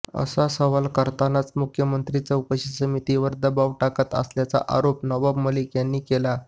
असा सवाल करतानाच मुख्यमंत्री चौकशी समितीवर दबाव टाकत असल्याचा आरोप नवाब मलिक यांनी केला